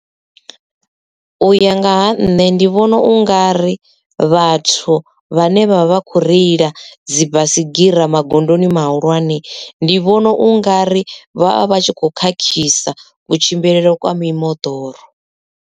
Uya nga ha nṋe ndi vhona ungari vhathu vhane vha vha kho reila dzi baisigira magondoni mahulwane ndi vhona ungari vhavha vhatshi kho khakhisa kutshimbilele kwa mimoḓoro.